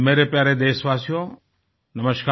मेरे प्यारे देशवासियो नमस्कार